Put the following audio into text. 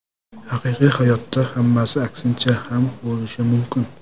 Haqiqiy hayotda hammasi aksincha ham bo‘lishi mumkin.